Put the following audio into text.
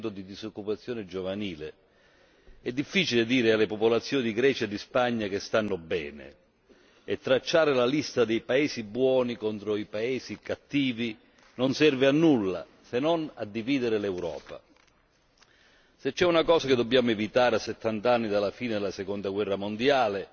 di disoccupazione giovanile. È difficile dire alle popolazioni di Grecia e Spagna che stanno bene e tracciare la lista dei paesi buoni contro i paesi cattivi non serve a nulla se non a dividere l'Europa. Se c'è una cosa che dobbiamo evitare, a settant'anni dalla fine della Seconda Guerra mondiale